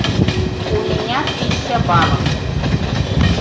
у меня тысяча баллов